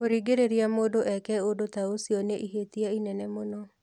Kũringĩrĩria mũndũ eke ũndũ ta ũcio nĩ ihĩtia inene mũno.